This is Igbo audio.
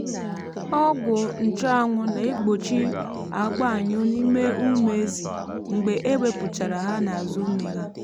ọgwụ nchuanwu na-egbochi àgbọ́ anyụ́ n’ime ụmụ ezi mgbe e wepụchara ha n’azu nne ha.